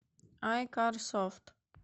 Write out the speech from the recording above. айкар софт